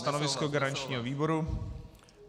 Stanovisko garančního výboru?